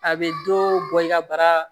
A bɛ dɔ bɔ i ka bara